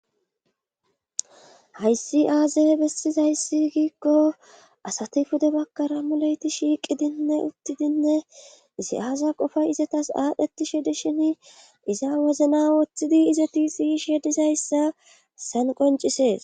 hayssi aaze bessizayssi giikko asati pude bakkara mulayti shiiqidinne uttidinne isi7aaza qofay izatas aadhdhetishe di shin iza wozna woththidi izeti sishe dizayssa san qoncisees